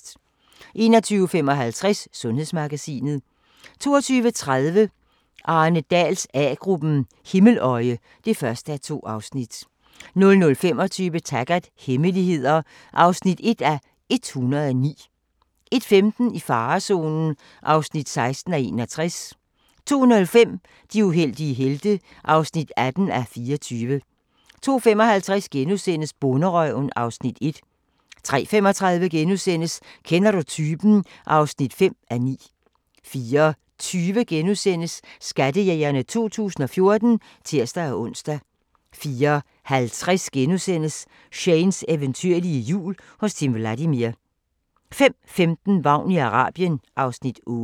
21:55: Sundhedsmagasinet 22:30: Arne Dahls A-gruppen: Himmeløje (1:2) 00:25: Taggart: Hemmeligheder (1:109) 01:15: I farezonen (16:61) 02:05: De uheldige helte (18:24) 02:55: Bonderøven (Afs. 1)* 03:35: Kender du typen? (5:9)* 04:20: Skattejægerne 2014 *(tir-ons) 04:50: Shanes eventyrlige jul hos Timm Vladimir * 05:15: Vagn i Arabien (Afs. 8)